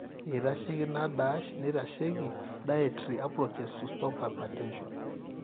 eitasheiki ina dash neitasheiki dietry approaches to stop hypertention